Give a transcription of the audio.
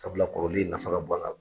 Sabula kɔrɔlen in nafa ka bon an kan.